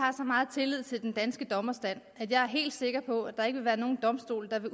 meget tillid til den danske dommerstand at jeg er helt sikker på at der ikke vil være nogen domstol der vil